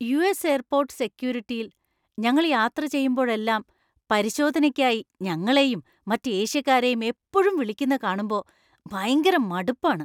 US. Airport സെക്യൂരിറ്റിയിൽ ഞങ്ങൾ യാത്ര ചെയ്യുമ്പോഴെല്ലാം പരിശോധനയ്ക്കായി ഞങ്ങളെയും മറ്റ് ഏഷ്യക്കാരെയും എപ്പോഴും വിളിക്കുന്ന കാണുമ്പോ ഭയങ്കര മടുപ്പാണ്.